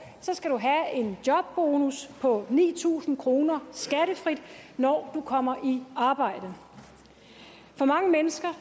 skal du have en jobbonus på ni tusind kroner skattefrit når du kommer i arbejde for mange mennesker